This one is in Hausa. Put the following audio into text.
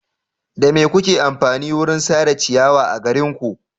Da me kuke amfani wurin sare ciyawa a garinku?